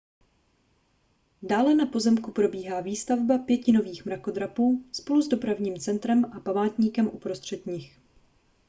dále na pozemku probíhá výstavba pěti nových mrakodrapů spolu s dopravním centrem a památníkem uprostřed nich